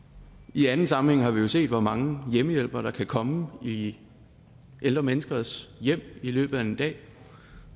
i anden sammenhæng har vi jo set hvor mange hjemmehjælpere der kan komme i ældre menneskers hjem i løbet af en dag